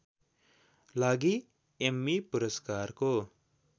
लागि एम्मी पुरस्कारको